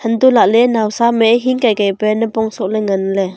antoh lahle naosa am e hingkai kai kai pe napong soh le ngan le.